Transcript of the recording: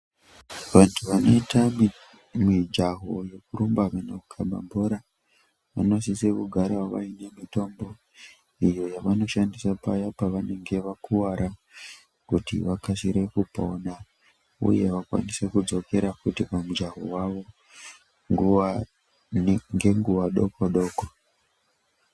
Vantu vanoite mijaho yekurumba kuenda kundokaba bhora vanosise kugara vaine mitombo iyo yavanoshandise pavanenge vakuvara kuti vakasire kupona uye vakwanise kudzokera pamujaho wavo ngenguwa doko doko.